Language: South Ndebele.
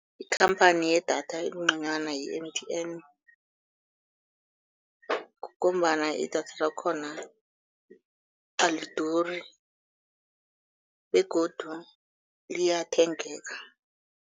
Ikhamphani yedatha engconywana yi-M_T_N ngombana idatha lakhona aliduri begodu liyathengeka.